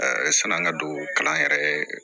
sani an ka don kalan yɛrɛ